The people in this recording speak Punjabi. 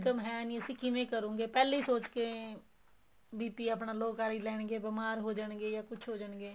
income ਹੈਨੀ ਅਸੀਂ ਕਿਵੇਂ ਕਰੂਗੇ ਪਹਿਲੇ ਹੀ ਸੋਚਕੇ ਆਪਣਾ low ਕਰ ਹੀ ਲੈਣ ਗਏ ਬੀਮਾਰ ਹੋ ਜਾਣਗੇ ਜਾ ਕੁੱਛ ਹੋ ਜਾਣਗੇ